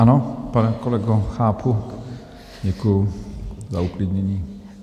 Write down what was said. Ano, pane kolego, chápu, děkuju za uklidnění.